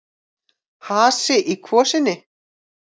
Hasi í kvosinni